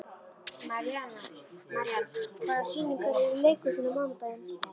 Marían, hvaða sýningar eru í leikhúsinu á mánudaginn?